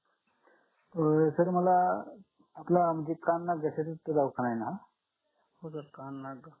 अं तसं मला आपल्या भेटायच होत दवाखान्यात